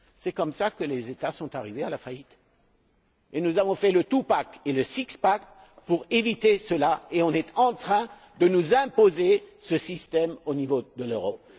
C'est comme cela que les États sont arrivés à la faillite. Nous avons fait le two pack et le six pack pour éviter cela et on est en train de nous imposer ce système au niveau de l'Europe.